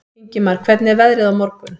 Ingimar, hvernig er veðrið á morgun?